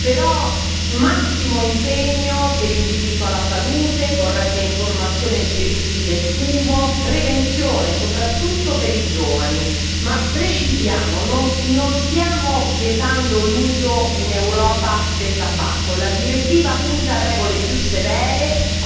però massimo impegno per il diritto alla salute, corretta informazione sui rischi del fumo, prevenzione soprattutto per i giovani, ma precisiamo non stiamo vietando l'uso in Europa del tabacco la direttiva punta a regole più severe,